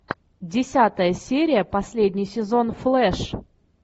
десятая серия последний сезон флэш